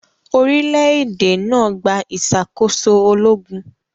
Orílẹ̀-èdè náà gba ìṣàkóso ológun.